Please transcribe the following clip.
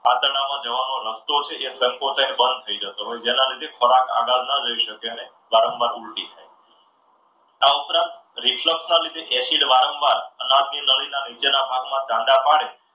આંતરડામાં જવાનો રસ્તો જે છે એ સંકોચાઈને બંધ થઈ જતો હોય છે. જેના લીધે ખોરાક આગળ ન જઈ શકતો હોય. તેને વારંવાર ઊલટી આ ઉપરાંત reflect ના લીધે acid વારંવાર અનાવ ની નળીના નીચેના ભાગમાં ચાંદા પડે